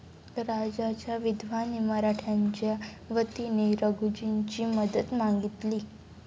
राजाच्या विधवाने मराठ्यांच्या वतीने रघुजींची मदत मागितली.